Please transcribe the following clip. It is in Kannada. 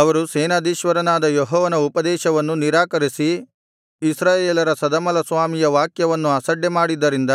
ಅವರು ಸೇನಾಧೀಶ್ವರನಾದ ಯೆಹೋವನ ಉಪದೇಶವನ್ನು ನಿರಾಕರಿಸಿ ಇಸ್ರಾಯೇಲರ ಸದಮಲಸ್ವಾಮಿಯ ವಾಕ್ಯವನ್ನು ಅಸಡ್ಡೆ ಮಾಡಿದ್ದರಿಂದ